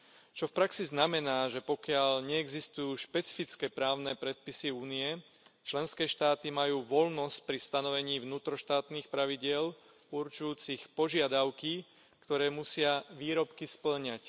Čo v praxi znamená, že pokiaľ neexistujú špecifické právne predpisy Únie, členské štáty majú voľnosť pri stanovení vnútroštátnych pravidiel určujúcich požiadavky, ktoré musia výrobky spĺňať.